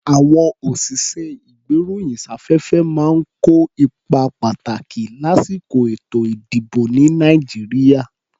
À̀wọn òṣìṣẹ́-ìgbéròyìnsáfẹ́fẹ́ máa ń kó ipa pàtàkì lásìkò èto-ìdìbò, ní Nàìjíríà.